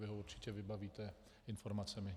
Vy ho určitě vybavíte informacemi.